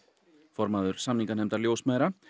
formaður samninganefndar ljósmæðra